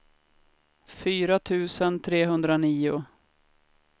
fyra tusen trehundranio